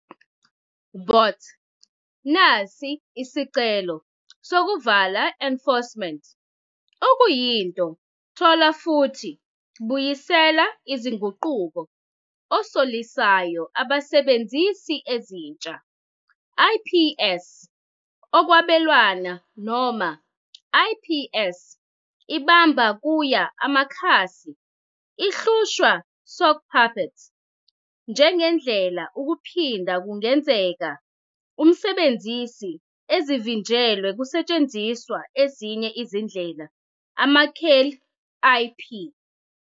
Bots nazo isicelo lokuvala enforcements okuyinto thola futhi buyisela izinguquko osolisayo abasebenzisi ezintsha, IPS okwabelwana noma IPS ibamba kuya amakhasi ihlushwa sockpuppets njengendlela ukuphinda kungenzeka of umsebenzisi ezivinjelwe kusetshenziswa ezinye izindlela amakheli IP.